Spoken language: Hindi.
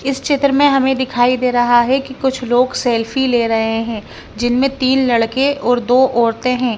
इस चित्र में हमें दिखाई दे रहा है कि कुछ लोग सेल्फी ले रहे हैं जिनमें तीन लड़के और दो औरतें हैं।